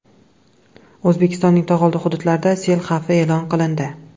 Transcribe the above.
O‘zbekistonning tog‘oldi hududlarida sel xavfi e’lon qilindi.